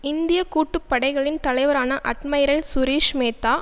இந்திய கூட்டுப்படைகளின் தலைவரான அட்மைரல் சுரீஷ் மேத்தா